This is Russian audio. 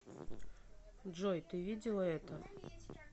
джой ты видела это